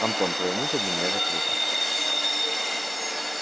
антон твои мысли для меня закрыты